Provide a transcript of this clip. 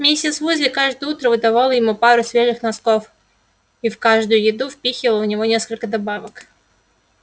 миссис уизли каждое утро выдавала ему пару свежих носков и в каждую еду впихивала в него несколько добавок